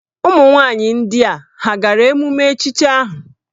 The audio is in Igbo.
Ụmụnwaanyị ndị a hà gara emume echichi ahụ?